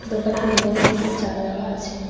দোকানটির ওপরে টিনের চাল দেওয়া আছে।